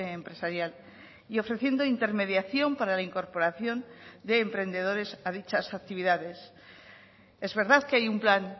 empresarial y ofreciendo intermediación para la incorporación de emprendedores a dichas actividades es verdad que hay un plan